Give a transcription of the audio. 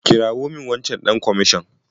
Kirawo min wancan ɗan kamashon.